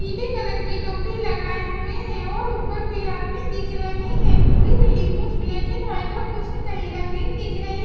पीले कलर की टोपी लगाए हुए हैं और ऊपर भी आदमी दिख रहे हैं पूरी बिल्डिंग कुछ ब्लैक एंड व्हाइट और कुछ ही कहीं रंगीन दिख रही--